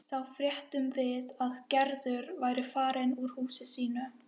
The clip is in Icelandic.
Þá fréttum við að Gerður væri farin úr húsinu sínu.